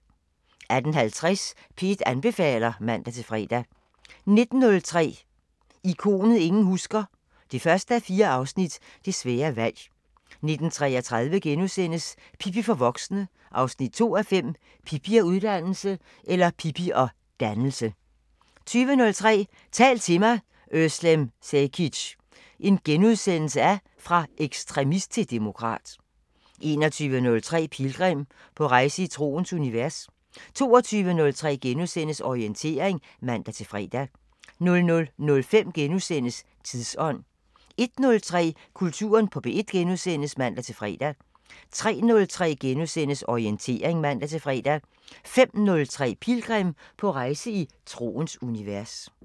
18:50: P1 anbefaler (man-fre) 19:03: Ikonet ingen husker – 1:4 Det svære valg 19:33: Pippi for voksne 2:5 – Pippi og (ud)dannelse * 20:03: Tal til mig – özlem Cekic: Fra ekstremist til demokrat * 21:03: Pilgrim – på rejse i troens univers 22:03: Orientering *(man-fre) 00:05: Tidsånd * 01:03: Kulturen på P1 *(man-fre) 03:03: Orientering *(man-fre) 05:03: Pilgrim – på rejse i troens univers